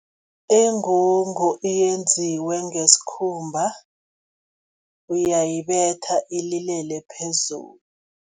Ingungu yenziwe ngesikhumba, uyayibetha ililele phezulu.